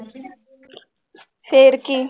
ਫਿਰ ਕੀ